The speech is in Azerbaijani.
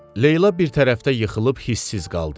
Leyla bir tərəfdə yıxılıb hisssiz qaldı.